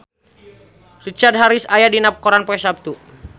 Richard Harris aya dina koran poe Saptu